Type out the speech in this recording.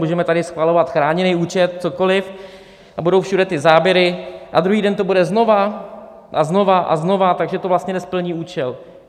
Můžeme tady schvalovat chráněný účet, cokoliv a budou všude ty záběry a druhý den to bude znova a znova a znova, takže to vlastně nesplní účel.